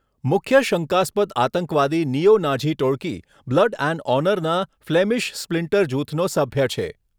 મુખ્ય શંકાસ્પદ આતંકવાદી નિયો નાઝી ટોળકી, બ્લડ એન્ડ ઓનરના ફ્લેમિશ સ્પ્લિન્ટર જૂથનો સભ્ય છે.